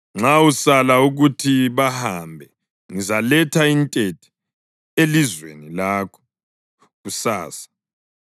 Nxa usala ukuthi bahambe ngizaletha intethe elizweni lakho kusasa.